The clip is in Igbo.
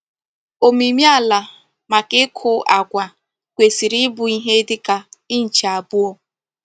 Omimi ala maka iku agwa kwesiri Ibu ihe dika inch abuo.